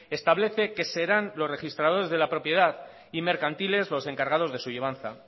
establece que serán los registradores de la propiedad y mercantiles los encargados de su llevanza